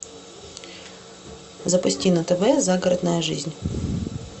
запусти на тв загородная жизнь